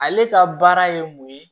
Ale ka baara ye mun ye